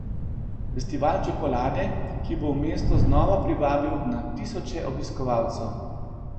Festival čokolade, ki bo v mesto znova privabil na tisoče obiskovalcev.